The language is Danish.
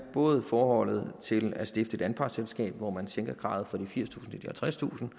både i forhold til det at stifte et anpartsselskab hvor man sænker kravet fra firstusind